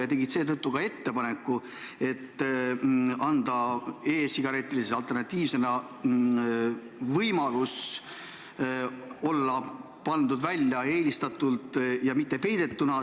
Nad tegid seetõttu ettepaneku anda e-sigaretile kui alternatiivile võimalus olla pandud välja eelistatult ja mitte peidetuna.